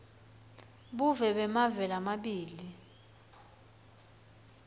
buve bemave lamabili